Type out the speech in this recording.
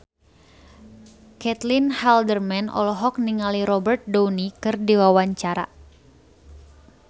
Caitlin Halderman olohok ningali Robert Downey keur diwawancara